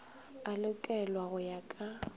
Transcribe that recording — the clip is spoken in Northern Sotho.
a lokelwa go ya ka